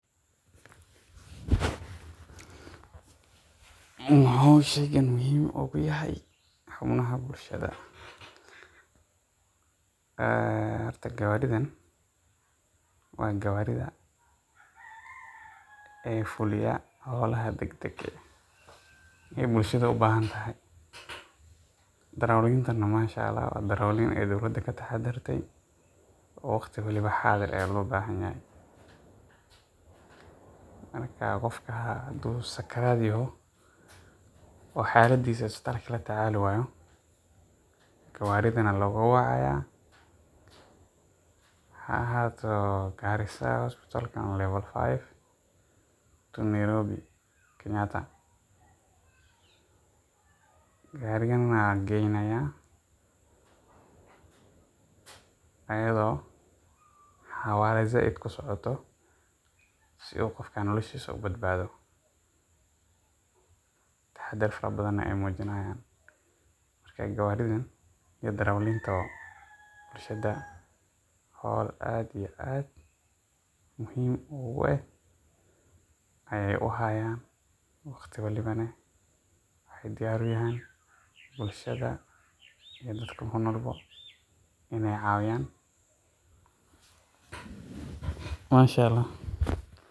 Maxuu shaygaan muhiim u yahay xarumaha bulshada? Horta, gaariyadan waa gaadiidha fuliya hawlaha deg-degga ah oo bulshada u baahan tahay. Darawalinta waa darawal mashallah ah oo ummadda ka dhex shaqeeya, waqti walbana diyaar ah oo loo baahan yahay. Marka uu qofku sakaraat yahay, ama xaaladdiisa isbitaalka lagula tacaali waayo, gaarigan ayaa loo wacayaa — ha ahaato Garissa Hospital ama Level five ee Nairobi kenyatta . Gaarigaan ayaa geynayaa iyadoo xawaare sare ku socoto si qofkaas noloshiisa loo badbaadiyo. Taxaddar fara badan ayay muujinayaan marka. Darawalintan iyo gaadiidkuba hawl aad iyo aad muhiim u ah ayay u hayaan, waqti walbana waxa ay diyaar u yihiin bulshada iyo dadka ku nool si ay u caawiyaan.